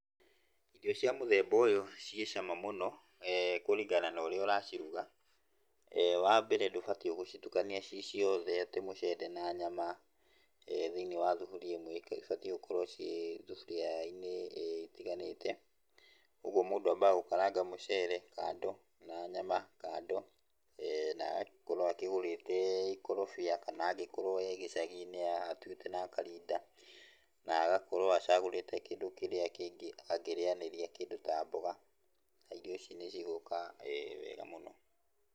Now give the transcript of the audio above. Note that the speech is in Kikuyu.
Irio cia mũthemba ũyũ ciĩ cama mũno, kũringana na ũrĩa ũraciruga. Wa mbere ndũbatiĩ gũcitukania ciĩ ciothe atĩ mũcere na nyama thĩiniĩ wa thuburia ĩmwe, ibatiĩ gũkorwo ciĩ thuburia-inĩ itiganĩte. Ũguo mũndũ ambaga gũkaranga mũcere kando, na nyama kando, na agagĩkorwo akĩgũrĩte ikorobia kana angĩkorwo e gĩcagi-inĩ atuĩte na akarinda, na agakorwo acagũrĩte kĩndũ kĩrĩa kĩngĩ angĩrĩanĩria kĩndũ ta mboga, na irio ici nĩcigũka wega mũno.